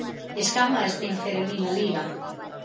Ég skammaðist mín fyrir mína líðan!